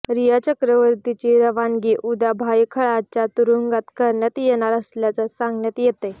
रिया चक्रवर्तीची रवानगी उद्या भायखळ्याच्या तुरुंगात करण्यात येणार असल्याचं सांगण्यात येतंय